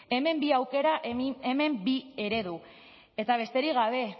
hemen bi aukera hemen bi eredu eta besterik gabe